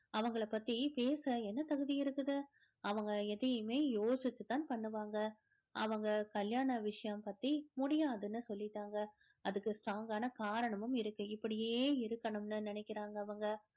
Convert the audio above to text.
அவங்கள பத்தி பேச என்ன தகுதி இருக்குது அவங்க எதையுமே யோசிச்சுதான் பண்ணுவாங்க அவங்க கல்யாண விஷயம் பத்தி முடியாதுன்னு சொல்லிட்டாங்க அதுக்கு strong ஆன காரணமும் இருக்கு இப்படியே இருக்கணும்ன்னு நினைக்கிறாங்க அவங்க